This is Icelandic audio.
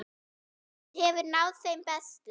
Hún hefur náð þeim bestu.